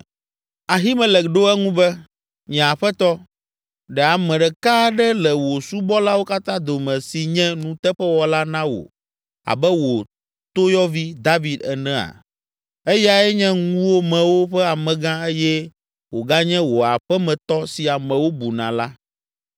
Ahimelek ɖo eŋu be, “Nye aƒetɔ, ɖe ame ɖeka aɖe le wò subɔlawo katã dome si nye nuteƒewɔla na wò abe wò toyɔvi, David enea? Eyae nye ŋuwòmewo ƒe amegã eye wòganye wò aƒemetɔ si amewo buna la.